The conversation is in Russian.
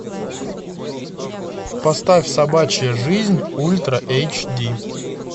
поставь собачья жизнь ультра эйч ди